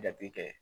Jate kɛ